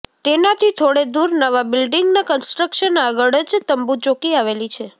તેનાથી થોડે દૂર નવા બિલ્ડીંગના કન્સ્ટ્રકશન આગળ જ તંબુ ચોકી આવેલી છે